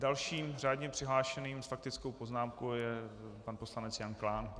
Dalším řádně přihlášeným s faktickou poznámkou je pan poslanec Jan Klán.